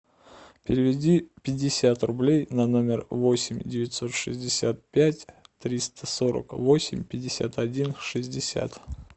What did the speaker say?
переведи пятьдесят рублей на номер восемь девятьсот шестьдесят пять триста сорок восемь пятьдесят один шестьдесят